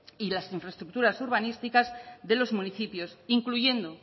y las infraestructuras urbanísticas de los municipios incluyendo